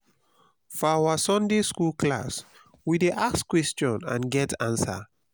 for our sunday skool class we dey ask questions and get answers